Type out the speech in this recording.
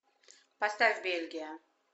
поставь бельгия